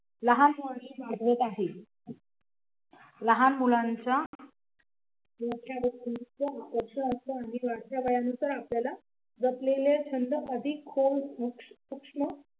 लहान violin वाजवत आहे लहान मुलांच्या वाढत्या वयानुसार आपल्याला असलेले छंद